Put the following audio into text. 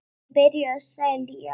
Hann byrjaði því að selja.